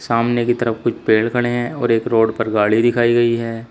सामने की तरफ कुछ पेड़ खड़े हैं और एक रोड पर गाड़ी दिखाई गई है।